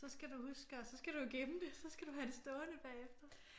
Så skal du huske og så skal du jo gemme det så skal du have det stående bagefter